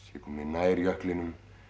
komið nær jöklinum